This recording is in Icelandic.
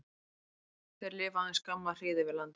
Þeir lifa aðeins skamma hríð yfir landi.